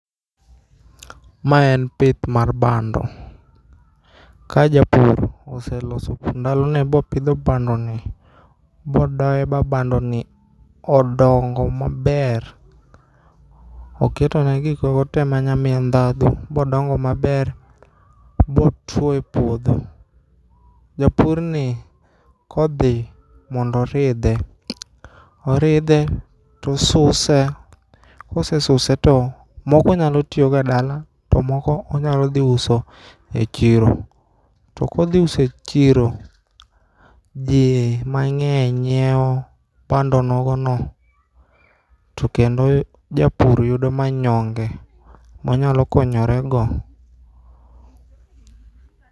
Ma en pith mar bando. Ka japur oseloso ndalone bopidho bandoni bo doe ba bandoni odongo maber. Oketone gikmoko te manyamie ndhadhu bodongo maber botuo e puodho. Japurni kodhi mondo oridhe ,oridhe tosuse, kosesuse to moko onyalo tiyogo e dala to moko onyalodhiuso e chiro. To kodhiuso e chiro jii mang'eny nyieo bando nogono tokendo japur yudo manyonge monyalokonyorego.